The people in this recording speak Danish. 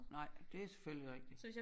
Nej det selvfølgelig rigtigt